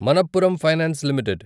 Manappuram finance limited